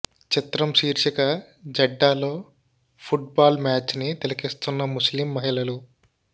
చిత్రం శీర్షిక జెడ్డాలో ఫుట్ బాల్ మ్యాచ్ని తిలకిస్తున్న ముస్లిం మహిళలు